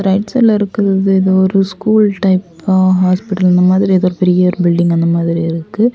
Back சைடுல இருக்கிறது ஏதோ ஒரு ஸ்கூல் டைப்பா ஹாஸ்பிடல் அந்த மாதிரி ஏதோ ஒரு பெரிய பில்டிங் அந்த மாதிரி இருக்கு.